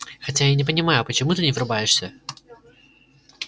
хотя я не понимаю почему ты не врубаешься